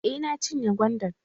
Eh, na cinye gwandan.